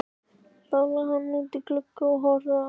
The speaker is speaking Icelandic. Þá lá hann bara útí glugga og horfði á.